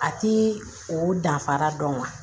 A ti o danfara dɔn